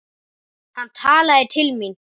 Hann talaði til mín.